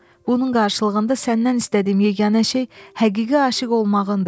Bunun qarşılığında səndən istədiyim yeganə şey həqiqi aşiq olmağındır.